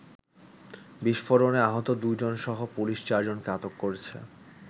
বিস্ফোরণে আহত দু’জনসহ পুলিশ চারজনকে আটক করেছে।